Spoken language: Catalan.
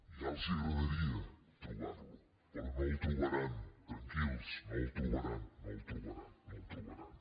ja els agradaria trobar·lo però no el tro·baran tranquils no el trobaran no el trobaran no el trobaran